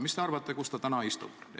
Mis te arvate, kus ta täna istub?